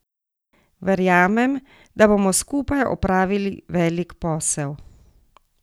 Verjamem, da bomo skupaj opravili velik posel.